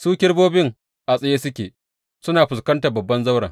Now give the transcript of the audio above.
Su kerubobin a tsaye suke, suna fuskantar babban zauren.